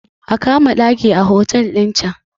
a kama ɗaki a otal ɗin can!